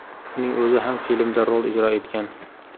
Uning o‘zi ham filmda rol ijro etgan.